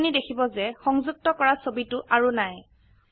আপোনি দেখিব যে সংযুক্ত কৰা ছবিটি আৰু নাই160